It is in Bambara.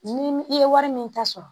Ni i ye wari min ta sɔrɔ